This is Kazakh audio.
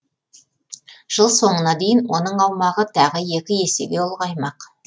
жыл соңына дейін оның аумағы тағы екі есеге ұлғаймақ